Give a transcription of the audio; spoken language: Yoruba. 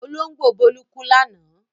Olóńgbò Bólú kú lánàá?